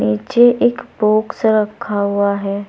नीचे एक बॉक्स रखा हुआ है।